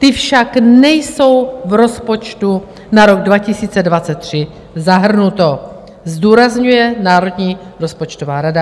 Ty však nejsou v rozpočtu na rok 2023 zahrnuty," zdůrazňuje Národní rozpočtová rada.